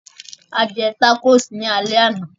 A jẹ tacos ní alẹ́ àná